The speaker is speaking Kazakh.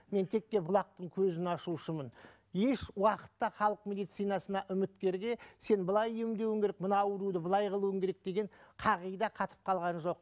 мен текке бұлақтың көзін ашушымын еш уақытта халық медицинасына үміткерге сен былай емдеуің керек мына ауруды былай қылуың керек деген қағида қатып қалған жоқ